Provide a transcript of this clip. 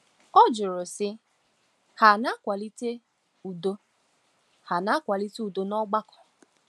Ha jụrụ, sị: “Ha na-akwalite udo “Ha na-akwalite udo n’ọgbakọ?”